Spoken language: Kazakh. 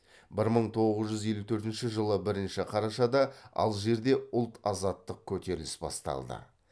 бір мың тоғыз жүз елу төртінші жылы бірінші қарашада алжирде ұлт азаттық көтеріліс басталды